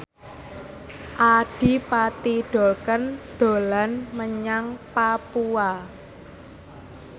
Adipati Dolken dolan menyang Papua